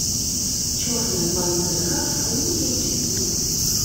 черная пантера фулл эйч ди